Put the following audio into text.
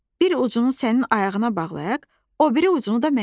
Bir ucunu sənin ayağına bağlayaq, o biri ucunu da mənim.